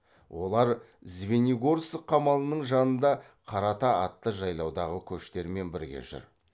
олар звенигорск қамалының жанында қарата атты жайлаудағы көштермен бірге жүр